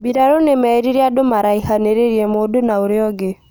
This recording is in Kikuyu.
Mbirarũ nĩmerire andũ maraihanĩrĩrie mundu na ũrĩa ũngĩ